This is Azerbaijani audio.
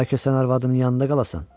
bəlkə sən arvadının yanında qalasan?